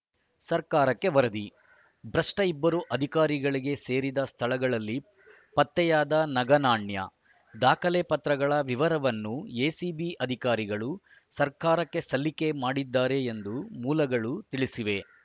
ಸರ್ಕಾರಕ್ಕೆ ವರದಿ ಭ್ರಷ್ಟಇಬ್ಬರು ಅಧಿಕಾರಿಗಳಿಗೆ ಸೇರಿದ ಸ್ಥಳಗಳಲ್ಲಿ ಪತ್ತೆಯಾದ ನಗನಾಣ್ಯ ದಾಖಲೆ ಪತ್ರಗಳ ವಿವರನ್ನು ಎಸಿಬಿ ಅಧಿಕಾರಿಗಳು ಸರ್ಕಾರಕ್ಕೆ ಸಲ್ಲಿಕೆ ಮಾಡಿದ್ದಾರೆ ಎಂದು ಮೂಲಗಳು ತಿಳಿಸಿವೆ